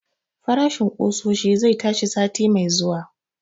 Farashin ƙusoshi zai tashi sati mai zuwa